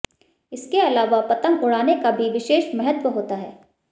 इसके अलाव पंतग उडाने का भी विशेष महत्व होता है